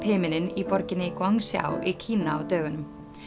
himininn í borginni í Kína á dögunum